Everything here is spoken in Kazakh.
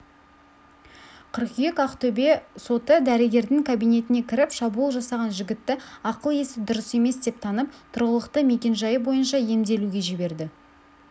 қыркүйек ақтөбе соты дәрігердің кабинетіне кіріп шабуыл жасаған жігітті ақыл-есі дұрыс емес деп танып тұрғылықты мекенжайы бойынша емделуге жіберді